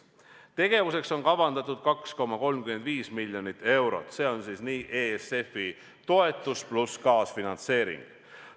Selleks tegevuseks on kavandatud 2,35 miljonit eurot, see on ESF-i toetus pluss kaasfinantseering.